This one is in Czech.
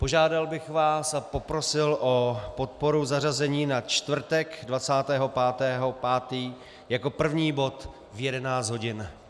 Požádal bych vás a poprosil o podporu zařazení na čtvrtek 25. 5. jako první bod v 11 hodin.